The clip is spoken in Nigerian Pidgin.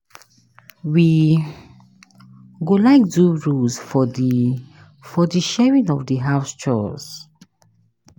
We go like do rules for di for di sharing of di house chores.